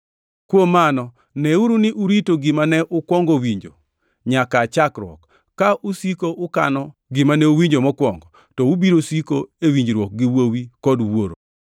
Kuom mano, neuru ni urito gima ne ukwongo winjo nyaka aa chakruok. Ka usiko ukano gima ne uwinjo mokwongo, to ubiro siko e winjruok gi Wuowi kod Wuoro.